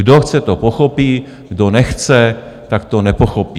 Kdo chce, to pochopí, kdo nechce, tak to nepochopí.